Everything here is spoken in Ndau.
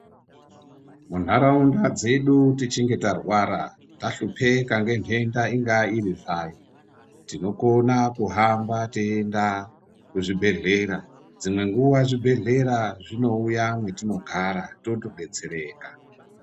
Muntharaunda dzedu tichinge tarwara tahlupika nenhenda ingaa irir zvayo tinokone kuhamba teienda kuzvibhedhleya dzimwe nguwa zvibhedhlera zvinouya mwatinogara toto detsereka.